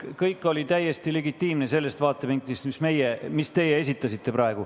Kõik oli täiesti legitiimne sellest vaatevinklist, mille teie praegu esitasite.